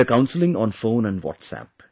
They are counseling on phone and WhatsApp